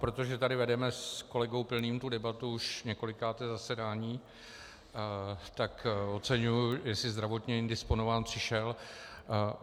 Protože tady vedeme s kolegou Pilným tu debatu už několikáté zasedání, tak oceňuji, jestli zdravotně indisponován přišel.